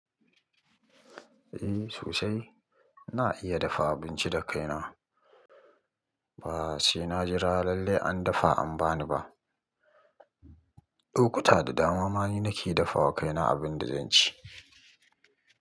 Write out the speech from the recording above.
Eh sosai, ina iya dafa abinci da kaina. Ba sai na jira lallai an dafa an bani ba. Lokuta da dama ma ni nake dafa wa kaina abin da zan ci.